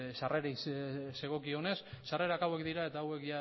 sarrerei zegokionez sarrerak hauek dira eta hauek